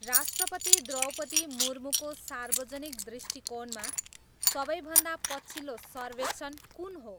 राष्ट्रपति द्रौपदी मुर्मुको सार्वजनिक दृष्टिकोणमा सबैभन्दा पछिल्लो सर्वेक्षण कुन हो